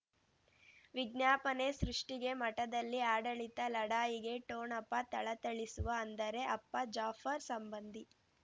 ವಿಜ್ಞಾಪನೆ ಸೃಷ್ಟಿಗೆ ಮಠದಲ್ಲಿ ಆಡಳಿತ ಲಢಾಯಿಗೆ ಠೊಣಪ ಥಳಥಳಿಸುವ ಅಂದರೆ ಅಪ್ಪ ಜಾಫರ್ ಸಂಬಂಧಿ